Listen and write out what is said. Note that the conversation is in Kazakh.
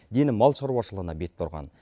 дені мал шаруашылығына бет бұрған